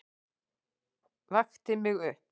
Vakti mig upp.